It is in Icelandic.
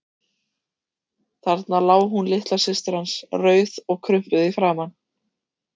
Þarna lá hún litla systir hans, rauð og krumpuð í framan.